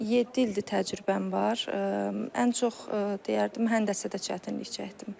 Yeddi ildir təcrübəm var, ən çox deyərdim həndəsədə çətinlik çəkdim.